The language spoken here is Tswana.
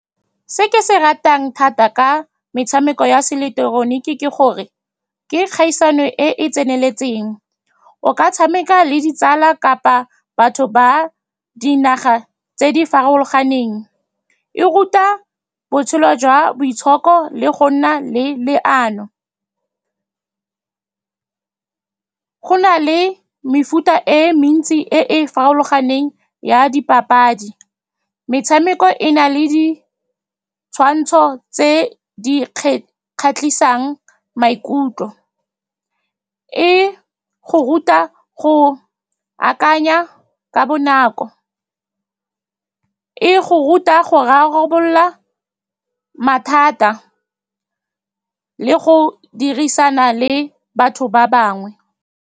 Se ke se ratang thata ka metshameko ya se ileketeroniki ke gore ke kgaisano e e tseneletseng. O ka tshameka le ditsala kapa batho ba dinaga tse di farologaneng. E ruta botshelo jwa boitshoko le go nna le leano. Go na le mefuta e mentsi e e farologaneng ya dipapadi. Metshameko e na le ditshwantsho tse di kgatlhisang maikutlo. E go ruta go akanya ka bonako, e go ruta go rarabolola mathata le go dirisana le batho ba bangwe.